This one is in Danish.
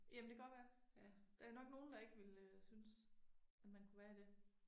Jamen det godt være. Der nok nogen der ikke ville øh synes at man kunne være i det